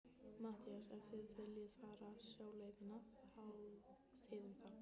MATTHÍAS: Ef þið viljið fara sjóleiðina, þá þið um það.